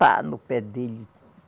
Pá, no pé dele.